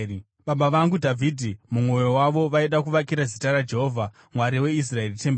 “Baba vangu Dhavhidhi, mumwoyo mavo vaida kuvakira Zita raJehovha, Mwari weIsraeri, temberi.